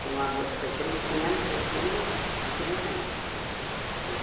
Foi um amor que foi crescendo, crescendo e criou raízes, né?